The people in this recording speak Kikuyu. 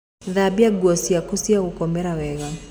Thambia nguo ciaku cia gũkomera wega